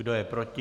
Kdo je proti?